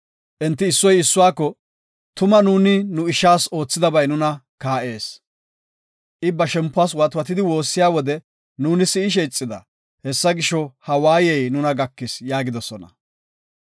Enti issoy issuwako, “Tuma nuuni nu ishas oothidabay nuna kaa7ees. I ba shempuwas watwatidi woossiya wode nuuni si7ishe ixida. Hessa gisho, ha waayey nuna gakis” yaagidosona.